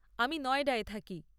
আমি নয়ডায় থাকি।